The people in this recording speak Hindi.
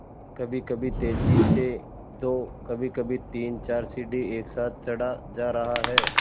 कभीकभी तेज़ी से दो कभीकभी तीनचार सीढ़ी एक साथ चढ़ा जा रहा है